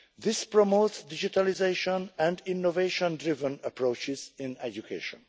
This promotes digitalisation and innovation driven approaches in education.